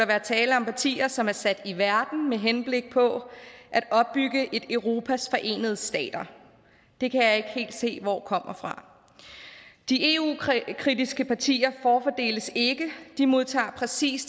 være tale om partier som er sat i verden med henblik på at opbygge et europas forenede stater det kan jeg ikke helt se hvor kommer fra de eu ukritiske partier forfordeles ikke de modtager præcis